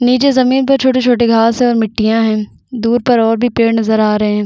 निचे ज़मीन पर छोटे-छोटे घास है और मिट्टिया है दुर पर और भी पेड़ नज़र आ रहे है।